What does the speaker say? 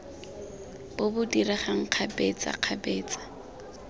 bo bo diregang kgabetsa kgabetsa